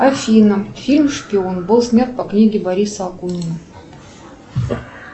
афина фильм шпион был снят по книге бориса акунина